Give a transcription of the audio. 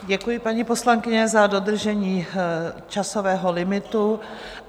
Děkuji, paní poslankyně, za dodržení časového limitu.